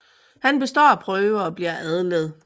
Han består prøve og bliver adlet